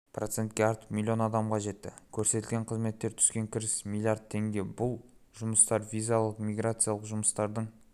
процентке артып миллион адамға жетті көрсетілген қызметтерден түскен кіріс миллиард теңге бұл жұмыстар визалық-миграциялық жұмыстардың